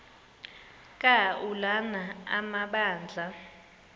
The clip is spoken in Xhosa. ka ulana amabandla